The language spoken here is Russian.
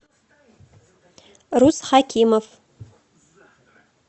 рус хакимов